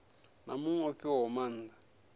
na muṅwe o fhiwaho maanda